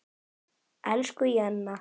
Elsku Jenna.